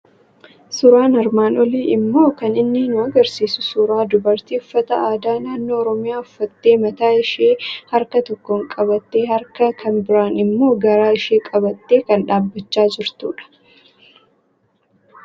Suuraan armaan olii immoo kan inni nu argisiisu suuraa dubartii uffata aadaa naannoo Oromiyaa uffattee mataa ishii harka tokkoon qabattee, harka kan biraan immoo garaa ishii qabattee kan dhaabbachaa jirtudha.